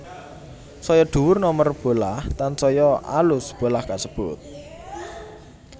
Saya dhuwur nomer bolah tansaya alus bolah kasebut